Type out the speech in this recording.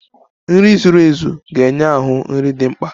Nri zuru ezu ga-enye ahụ nri dị mkpa.